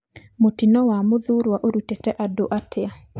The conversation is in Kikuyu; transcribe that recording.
Mũtino wa Mũthurũa ũrutite andũ atia?